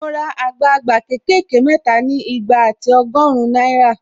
Mo ra àgbagba ké kè ké mẹ́ta ni igba ati ọgọ́rin náírà